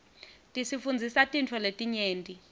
tisifundzisa tintfo letinyenti